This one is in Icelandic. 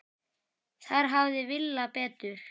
Þar hafði Villa betur.